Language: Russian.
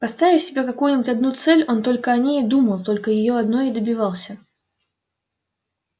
поставив себе какую-нибудь одну цель он только о ней и думал только её одной и добивался